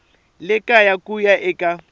le kaya ku ya eka